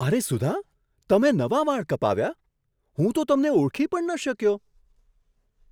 અરે સુધા, તમે નવા વાળ કપાવ્યા! હું તો તમને ઓળખી પણ ન શક્યો!